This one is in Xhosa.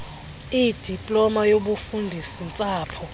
idiploma yobufundisi ntsapho